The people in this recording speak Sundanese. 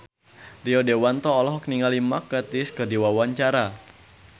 Rio Dewanto olohok ningali Mark Gatiss keur diwawancara